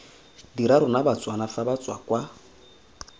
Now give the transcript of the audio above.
dira rona batswana fa batswakwa